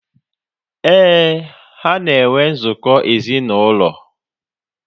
Éè, ha na enwe nzukọ ezinaụlọ